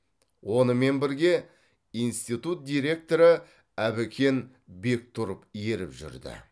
онымен бірге институт директоры әбікен бектұров еріп жүрді